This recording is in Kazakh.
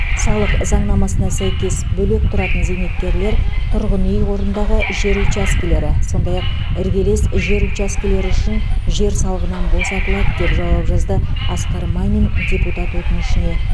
салық заңнамасына сәйкес бөлек тұратын зейнеткерлер тұрғын үй қорындағы жер учаскелері сондай ақ іргелес жер учаскелері үшін жер салығынан босатылады деп жауап жазды асқар мамин депутат өтінішіне